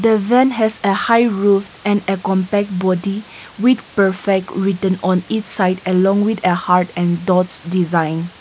the van has a high roof and a compact body with perfect with on inside along with hard and doors design.